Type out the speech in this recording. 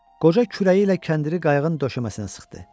Qoca kürəyi ilə kəndiri qayığın döşəməsinə sıxdı.